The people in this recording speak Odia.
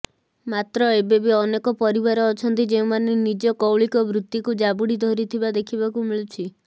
ମାତ୍ର ଏବେବି ଅନେକ ପରିବାର ଅଛନ୍ତି ଯେଉଁମାନେ ନିଜ କୌଳିକ ବୃତ୍ତିକୁ ଜାବୁଡ଼ି ଧରିଥିବା ଦେଖିବାକୁ ମିଳୁଛି